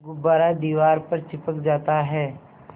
गुब्बारा दीवार पर चिपक जाता है